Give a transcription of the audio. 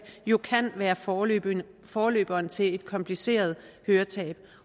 jo kan være forløberen forløberen til et kompliceret høretab